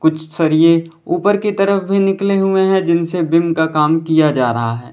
सरिये ऊपर की तरफ भी निकले हुए हैं जिनसे बीम का काम किया जा रहा है।